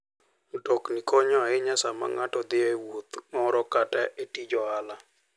Mtoknigo konyo ahinya sama ng'ato dhi e wuoth moro kata e tij ohala.